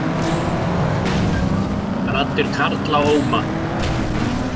Raddir karla óma